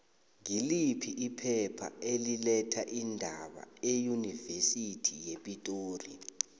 ngiliphi iphepha eli letha iindaba eunivesithi yepitori